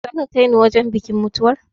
Za ka kai ni wajen bikin mutuwar?